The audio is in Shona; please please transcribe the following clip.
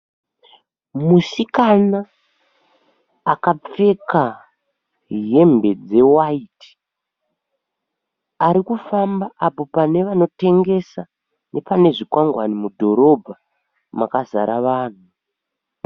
Musikana akapfeka hembe dzewaiti. Arikufamba apo pane vanotengesa nepane zvikwangwani mudhorobha makazara vanhu.